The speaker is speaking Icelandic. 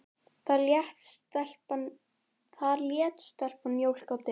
Þar lét stelpan mjólk á disk.